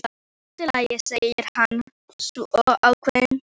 Allt í lagi, segir hann svo ákveðinn.